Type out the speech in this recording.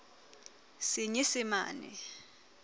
senyesemane